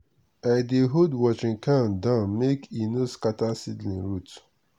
i dey hold watering can down make e no scatter seedling root.